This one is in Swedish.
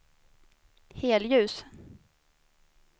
helljus